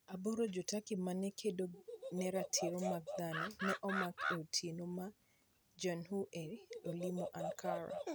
8 Jo-Turkey ma ne kedo ne ratiro mag dhano ne omak e otieno ma @JahnEU ne olimo Ankara.